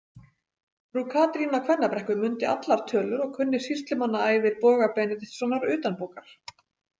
Frú Katrín á Kvennabrekku mundi allar tölur og kunni sýslumannaævir Boga Benediktssonar utanbókar.